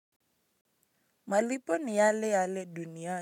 Malipo ni yale yale dunya.